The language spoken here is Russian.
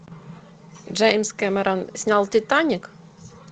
джеймс кэмерон снял титаник